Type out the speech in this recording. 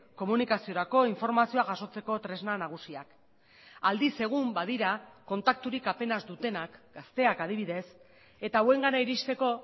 komunikaziorako informazioa jasotzeko tresna nagusiak aldiz egun badira kontakturik apenas dutenak gazteak adibidez eta hauengana iristeko